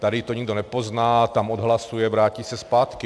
Tady to nikdo nepozná, tam odhlasuje, vrátí se zpátky.